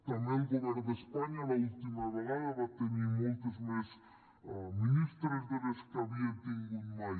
també el govern d’espanya l’última vegada va tenir moltes més ministres de les que havia tingut mai